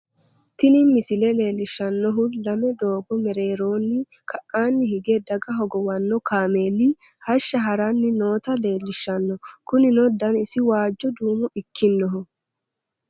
tini misile leellishshannohu lame doogo mereeronni ka'anni hige daga hogowanno kaameeli hashsha haranni noota leellishshanno ,kunino danasi waajjo duumo ikkinohu